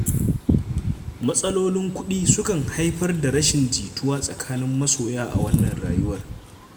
Matsalolin kuɗi sukan haifar da rashin jituwa tsakanin masoya a wannan rayuwa.